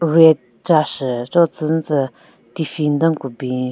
Rack chashü cho tsünyu tsü tiffin den ku bin.